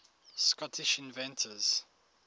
scottish inventors